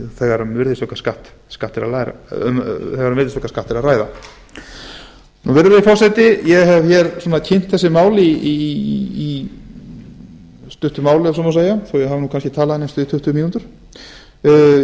þegar um virðisaukaskatt er að ræða virðulegi forseti ég hef kynnt þessi mál í stuttu máli ef svo má segja þó ég hafi kannski talað í næstum því tuttugu